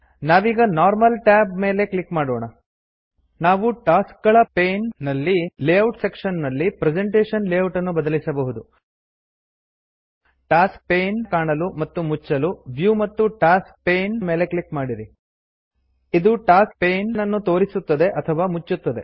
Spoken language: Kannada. ನಾವೀಗ ನಾರ್ಮಲ್ ಟ್ಯಾಬ್ ಮೇಲೆ ಕ್ಲಿಕ್ ಮಾಡೋಣ ನಾವು ಟಾಸ್ಕಗಳ ಪೇನ್ ನಲ್ಲಿ ಲೇ ಔಟ್ ಸೆಕ್ಶನ್ ನಲ್ಲಿ ಪ್ರೆಸೆಂಟೇಶನ್ ಲೇಔಟನ್ನು ಬದಲಿಸಬಹುದು ಟಾಸ್ಕ ಪೇನ್ ಕಾಣಲು ಮತ್ತು ಮುಚ್ಚಲು ವ್ಯೂ ಮತ್ತು ಟಾಸ್ಕ್ ಪೇನ್ ಮೇಲೆ ಕ್ಲಿಕ್ ಮಾಡಿರಿ ಇದು ಟಾಸ್ಕ್ ಪೇನನ್ನು ತೋರಿಸುತ್ತದೆ ಅಥವಾ ಮುಚ್ಚುತ್ತದೆ